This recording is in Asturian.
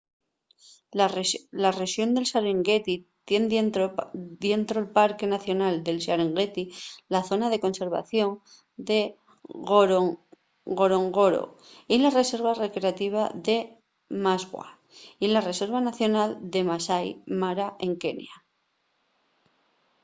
la rexón del serengueti tien dientro’l parque nacional del serengueti la zona de conservación de ngorongoro y la reserva recreativa de maswa y la reserva nacional del masai mara en kenia